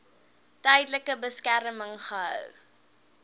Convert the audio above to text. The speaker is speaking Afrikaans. tydelike beskerming gehou